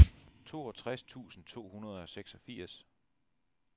toogtres tusind to hundrede og seksogfirs